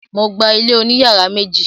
Mo gba ilé oní yàrá méjì.